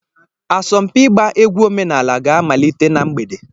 Asọmpi ịgba egwu omenala ga-amalite na mgbede.